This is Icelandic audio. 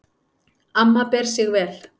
Amma ber sig vel.